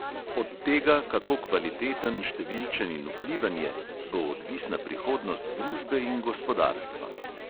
Od tega, kako kvaliteten, številčen in vpliven je, bo odvisna prihodnost družbe in gospodarstva.